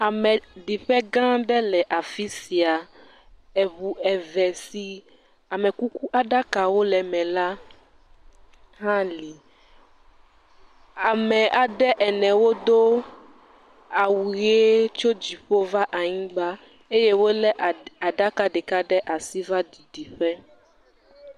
Ameɖiƒegã aɖe le afi sia. Eŋu eve si amekuku aɖakawo le eme la hã li. Ame aɖe ene wodo awu ʋee tso dziƒo va anyigba ye wolé aɖi, aɖaka ɖeka ɖe asi va ɖiɖi ƒe.